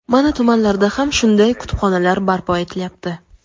Mana tumanlarda ham shunday kutubxonalar barpo etilyapti.